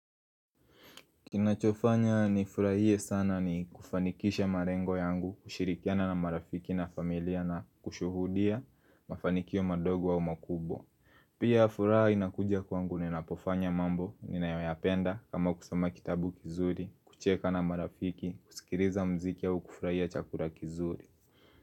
Kinachofanya nifurahie sana ni kufanikisha malengo yangu kushirikiana na marafiki na familia na kushuhudia mafanikio madogo wa makubwa Pia furaha inakuja kwangu ninapofanya mambo ninayoyapenda kama kusoma kitabu kizuri, kucheka na marafiki, kusikiliza mziki au kufuraia chakula kizuri.